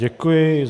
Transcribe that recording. Děkuji.